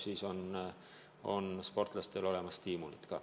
Siis on sportlastel stiimulid olemas.